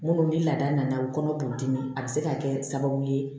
Munnu ni laada nana u kɔnɔ b'u dimi a bɛ se ka kɛ sababu ye